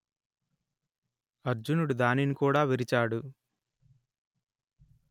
అర్జునుడు దానిని కూడా విరిచాడు